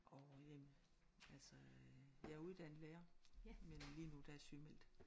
Orh jamen altså øh jeg er uddannet lærer men lige nu er der jeg sygemeldt